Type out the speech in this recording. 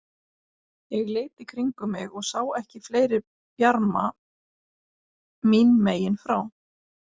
Ég leit í kringum mig og sá ekki fleiri bjarma mín megin frá.